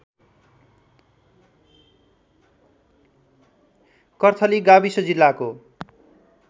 कर्थली गाविस जिल्लाको